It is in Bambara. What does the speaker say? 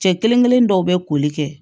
Cɛ kelen kelennin dɔw be koli kɛ